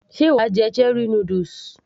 sé wàá jẹ cherie noodles